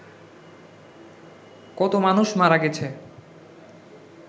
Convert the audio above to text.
কত মানুষ মারা গেছে